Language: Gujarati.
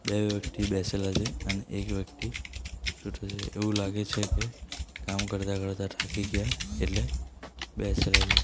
બે વ્યક્તિ બેસેલા છે અને એક વ્યક્તિ સૂતો છે એવું લાગે છે કે કામ કરતા કરતા થાકી ગયા એટલે બેસેલા છે.